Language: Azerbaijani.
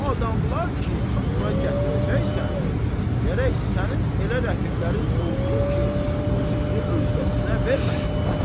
O adamlar ki, sən bura gətirəcəksən, gərək sənin elə rəfiqlərin olsun ki, bu sirri özgəsinə verməsinlər.